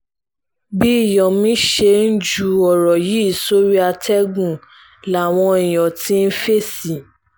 bí yomi ṣe ń ju ọ̀rọ̀ yìí sórí àtẹ̀gùn làwọn èèyàn ti ń fèsì